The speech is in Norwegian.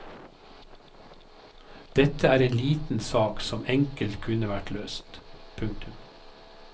Dette er en liten sak som enkelt kunne vært løst. punktum